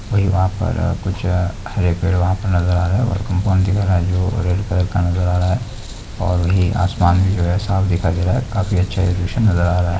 कोई वहां पर आ कुछ आ हरे पेड़ वहां पर नजर आ रहा है और कोंपौनदिङ हे जो रेड कलर का नजर आ रहा है और वही आसमान जो हे साफ दिखा गीला है काफी अच्छा एजुकेशन नजर आ रहा है।